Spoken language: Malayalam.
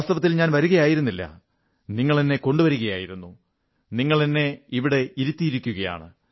വാസ്തവത്തിൽ ഞാൻ വരുകയായിരുന്നില്ല നിങ്ങളെന്നെ കൊണ്ടുവരികയായിരുന്നു നിങ്ങളെന്നെ ഇവിടെ ഇരുത്തിയിരിക്കയാണ്